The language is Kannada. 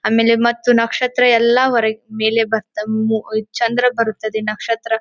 ಆಮೇಲೆ ಮತ್ತು ನಕ್ಷತ್ರ ಎಲ್ಲ ಹೊರಕ್ಕೆ ಮೇಲೆ ಬರ್ತಾವು ಹ್ಮ್ ಚಂದ್ರ ಬರುತ್ತದೆ ನಕ್ಷತ್ರ--